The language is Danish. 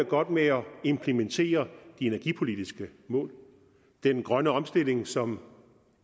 godt med at implementere de energipolitiske mål det er den grønne omstilling som